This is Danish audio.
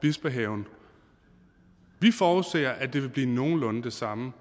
bispehaven vi forudser at det vil blive nogenlunde det samme